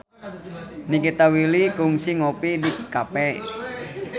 Nikita Willy kungsi ngopi di cafe